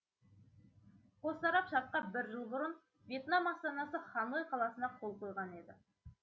қос тарап шартқа бір жыл бұрын вьетнам астанасы ханой қаласында қол қойған еді